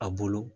A bolo